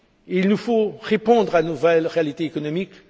Il nous faut répondre à nos vraies réalités économiques